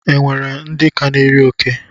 E nwere ndị ka na-eri oke?